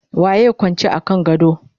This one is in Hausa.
waye Kwance a kan gado?